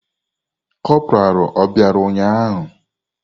Kopuralu obịara ụnyahụ?